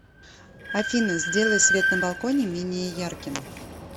афина сделай свет на балконе менее ярким